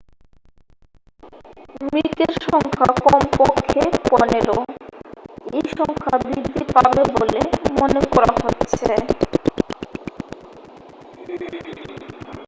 মৃতের সংখ্যা কমপক্ষে 15 এই সংখ্যা বৃদ্ধি পাবে বলে মনে করা হচ্ছে